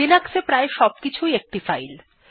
Linux এ প্রায় সবকিছু ই একটি ফাইল